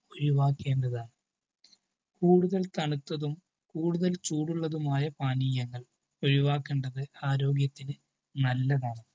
ഒഴിവാക്കേണ്ടതാണ്. കൂടുതൽ തണുത്തതും കൂടുതൽ ചൂടുള്ളതുമായ പാനീയങ്ങൾ ഒഴിവാക്കേണ്ടത് ആരോഗ്യത്തിനു നല്ലതാണു.